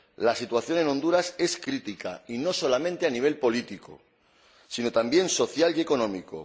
La situación en Honduras es crítica y no solamente a nivel político, sino también social y económico.